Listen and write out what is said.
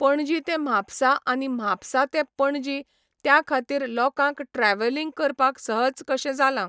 पणजी ते म्हापसा आनी म्हापसा ते पणजी त्या खातीर लोकांक ट्रॅव्हलिंग करपाक सहज कशें जाला